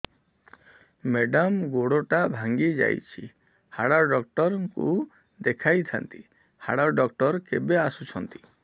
madam ଗୋଡ ଟା ଭାଙ୍ଗି ଯାଇଛି ହାଡ ଡକ୍ଟର ଙ୍କୁ ଦେଖାଇ ଥାଆନ୍ତି ହାଡ ଡକ୍ଟର କେବେ ଆସୁଛନ୍ତି